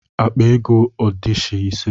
Akpa ego adishi ise.